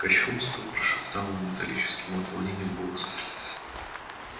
кощунство прошептал он металлическим от волнения голосом